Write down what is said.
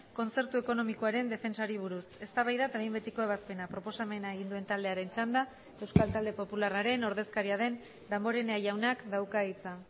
kontzertu ekonomikoaren defentsari buruz eztabaida eta behin betiko ebazpena proposamena egin duen taldearen txanda euskal talde popularraren ordezkaria den damborenea jaunak dauka hitza